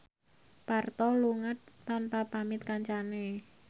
Parto lunga tanpa pamit kancane